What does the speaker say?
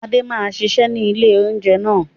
Adé máa ṣiṣẹ́ ni ilé oúnjẹ náà.